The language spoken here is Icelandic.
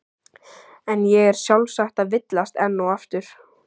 En ég er sjálfsagt að villast enn og aftur.